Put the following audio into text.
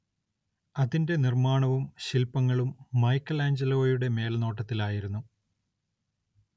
അതിന്റെ നിർമ്മാണവും ശില്പങ്ങളും മൈക്കെലാഞ്ചലോയുടെ മേൽനോട്ടത്തിലായിരുന്നു.